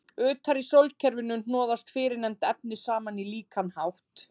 Utar í sólkerfinu hnoðuðust fyrrnefnd efni saman á líkan hátt.